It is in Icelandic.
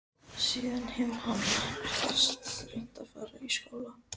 Það var ekki spurning um hvort heldur hvenær.